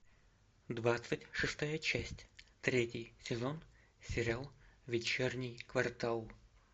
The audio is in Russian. двадцать шестая часть третий сезон сериал вечерний квартал